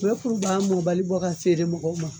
U be kuruba mɔbali bɔ ka feere mɔgɔw ma